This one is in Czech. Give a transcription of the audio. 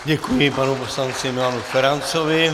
Děkuji panu poslanci Milanu Ferancovi.